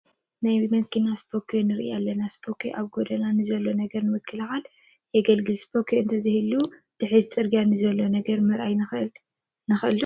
ናይ መኪና ስፖኪዮ ንርኢ ኣለና፡፡ ስፖኪዮ ኣብ ጐደና ንዘሎ ነገር ንምክትታል የግልግል፡፡ ስፖኪዮ እንተዘይህሉ ብድሕሪት ፅርጊያ ንዘሎ ነገር ምርኣይ ምተኻእለ ዶ?